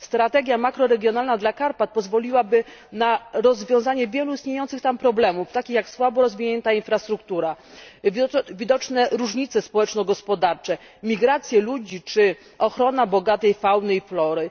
Strategia makroregionalna dla Karpat pozwoliłaby na rozwiązanie wielu istniejących tam problemów, takich jak słabo rozwinięta infrastruktura, widoczne różnice społeczno gospodarcze, migracje ludności czy ochrona bogatej fauny i flory.